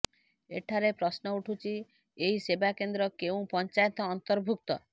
ଏଠାରେ ପ୍ରଶ୍ନ ଉଠୁଛି ଏହି ସେବାକେନ୍ଦ୍ର କେଉଁ ପଞ୍ଚାୟତ ଅନ୍ତର୍ଭୁକ୍ତ